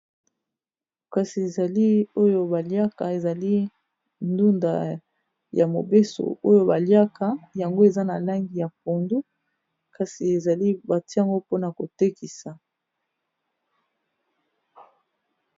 kasi ezali oyo baliaka ezali ndunda ya mobeso oyo baliaka yango eza na langi ya pondo kasi ezali batiango mpona kotekisa